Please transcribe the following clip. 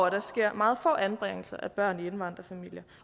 at der sker meget få anbringelser af børn i indvandrerfamilier